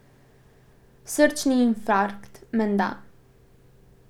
Srčni infarkt, menda.